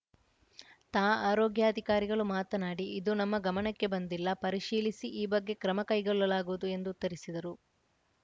ತಾ ಆರೋಗ್ಯಾಧಿಕಾರಿಗಳು ಮಾತನಾಡಿ ಇದು ನಮ್ಮ ಗಮನಕ್ಕೆ ಬಂದಿಲ್ಲ ಪರಿಶೀಲಿಸಿ ಈ ಬಗ್ಗೆ ಕ್ರಮ ಕೈಗೊಳ್ಳಲಾಗುವುದು ಎಂದು ಉತ್ತರಿಸಿದರು